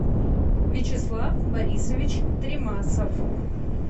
вячеслав борисович тремасов